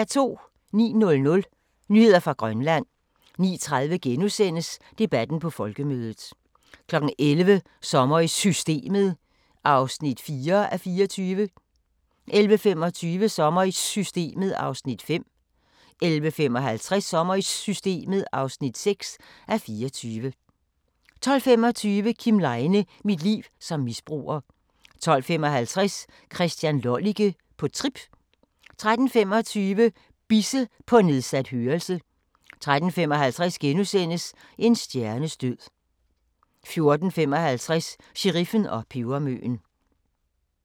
09:00: Nyheder fra Grønland 09:30: Debatten på Folkemødet * 11:00: Sommer i Systemet (4:24) 11:25: Sommer i Systemet (5:24) 11:55: Sommer i Systemet (6:24) 12:25: Kim Leine – mit liv som misbruger 12:55: Christian Lollike – på trip 13:25: Bisse – på nedsat hørelse 13:55: En stjernes død * 14:55: Sheriffen og pebermøen